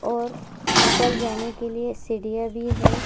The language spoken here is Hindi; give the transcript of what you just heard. और ऊपर जाने के लिए सीढ़ियां भी है।